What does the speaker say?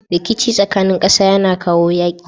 Rikici tsakanin ƙasa yAna kawo yaƙi